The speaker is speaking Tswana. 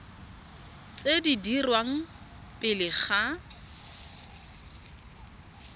tse di dirwang pele ga